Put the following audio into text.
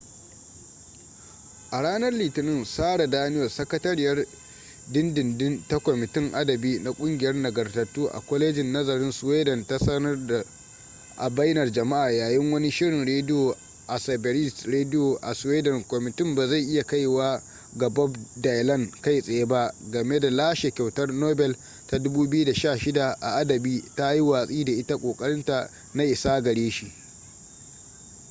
a ranar litinin sara danius sakatariyar dindindin ta kwamitin adabi na kungiyar nagartattu a kwalejin nazarin sweden ta sanar a bainar jama'a yayin wani shirin rediyo a sveriges radio a sweden kwamitin ba zai iya kaiwa ga bob dylan kai tsaye ba game da lashe kyautar nobel ta 2016 a adabi ta yi watsi da ita kokarinta na isa gare shi